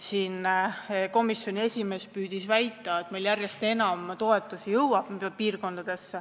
Komisjoni esimees püüdis siin väita, et meil jõuab järjest enam toetusi piirkondadesse.